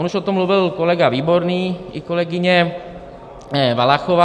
On už o tom mluvil kolega Výborný i kolegyně Valachová.